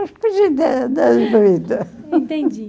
Entendi.